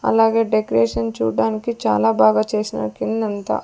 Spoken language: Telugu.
అలాగే డెకరేషన్ చూడ్డానికి చాలా బాగా చేశినారు కిందంతా.